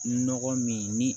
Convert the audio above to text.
Nɔgɔ min ni